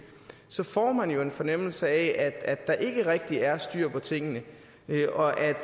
så får man jo en fornemmelse af at der ikke rigtig er styr på tingene og at